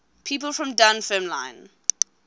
people from dunfermline